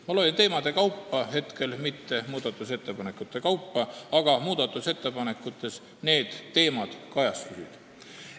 Ma loen ette teemade, mitte muudatusettepanekute kaupa, aga muudatusettepanekutes need teemad kajastusid.